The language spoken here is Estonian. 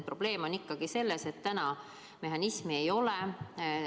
Probleem on ikkagi selles, et täna hüvitamise mehhanismi ei ole.